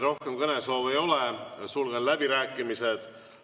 Rohkem kõnesoove ei ole, sulgen läbirääkimised.